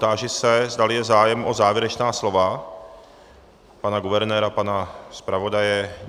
Táži se, zdali je zájem o závěrečná slova - pana guvernéra, pana zpravodaje.